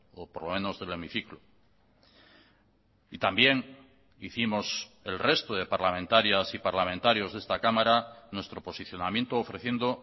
o por lo menos del hemiciclo y también hicimos el resto de parlamentarias y parlamentarios de esta cámara nuestro posicionamiento ofreciendo